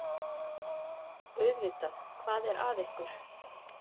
Auðvitað, hvað er að ykkur?